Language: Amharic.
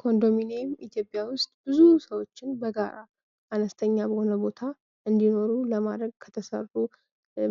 ኮንዶሚኒየም ኢትዮጵያ ውስጥ ብዙ ሰዎችን በጋራ አነስተኛ በሆነ ቦታ እንዲኖሩ ለማድረግ ከተሠሩ